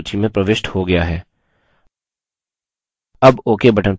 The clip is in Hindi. अब ok button पर click करें